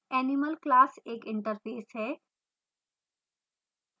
animal class एक interface है